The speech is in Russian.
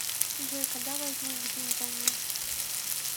джой когда возник жизнь взаймы